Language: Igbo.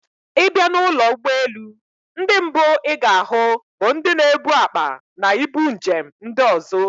Ì bịa n'ụlọ ụgbọelu, ndị mbụ ị ga-ahụ bụ ndị na-ebu akpa na ibu njem ndị ozo